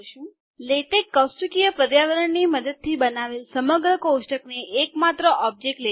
LaTeX કૌષ્ટકીય પર્યાવરણ મદદથી બનાવેલ સમગ્ર કોષ્ટક ને એક માત્ર ઓબ્જેક્ટ લે છે